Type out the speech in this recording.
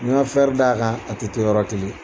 Ɲ'i d'a kan a tɛ to yɔrɔ kelen